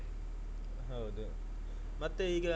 ಹೌದು ಮತ್ತೆ ಈಗ.